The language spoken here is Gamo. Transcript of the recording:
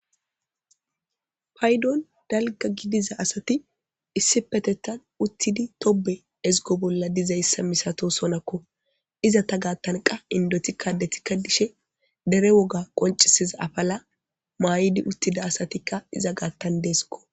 Payddon dalgga gidiza asati issippetetan uttidi tobbe eziggo bolla diza masatosonakko izeta gatan qa inddotikka addetika dishes dere woga qonccisiza affela mayidi uttida asatika izata giddon dessikko